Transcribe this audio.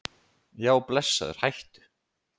Já blessaður hættu!